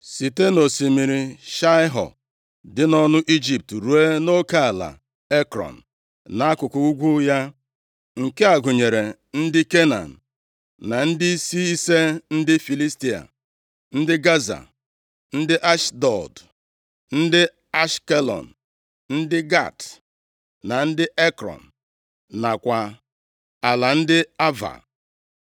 site nʼosimiri Shaịho dị nʼọnụ Ijipt ruo nʼoke ala Ekrọn, nʼakụkụ ugwu ya, nke a gụnyere ndị Kenan, na ndịisi ise ndị Filistia: ndị Gaza, ndị Ashdọd, ndị Ashkelọn, ndị Gat, na ndị Ekrọn; nakwa ala ndị Ava,